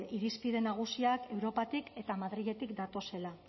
irizpide nagusiak europatik eta madriletik datozela